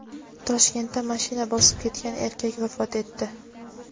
Toshkentda mashina bosib ketgan erkak vafot etdi.